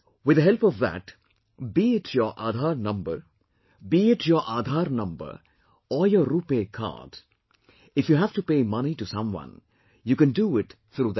With the help of that, be it your Aadhar number or your RuPay card, if you have to pay money to someone, you can do it through that